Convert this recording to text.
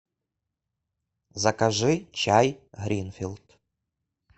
закажи чай гринфилд